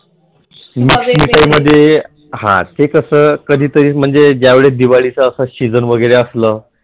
ते कसं कधीतरी म्हणजे ज्यावेळी दिवाळीचा अस Season वगैरे असलं